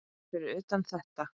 um fyrir utan þetta.